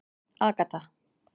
Agatha